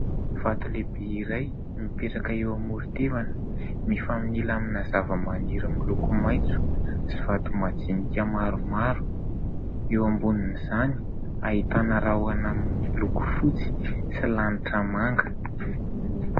Vato lehibe iray mipetraka eo amoro-tevana, mifanila amina zavamaniry miloko maitso sy vato majinika maromaro ; eo ambonin'izany ahitana rahona miloko fotsy sy lanitra manga.